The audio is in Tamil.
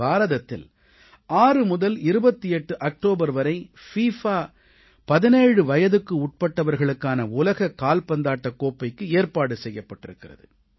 பாரதத்தில் 6 முதல் 28 அக்டோபர் வரை பிஃபா 17 வயதுக்குட்பட்டவர்களுக்கான உலகக் கால்பந்தாட்டக் கோப்பைக்கு ஏற்பாடு செய்யப்பட்டிருக்கிறது